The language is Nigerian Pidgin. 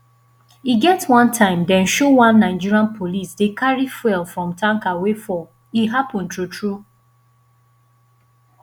e get one time dem show one nigerian police dey carry fuel from tanker wey fall e happen true true